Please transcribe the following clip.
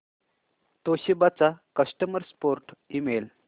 Toshiba चा customer support email